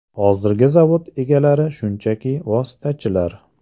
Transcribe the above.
Hozirgi zavod egalari shunchaki vositachilar.